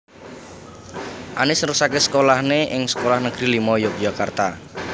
Anies neruské sekolah né ing Sekolah Negeri limo Yogyakarta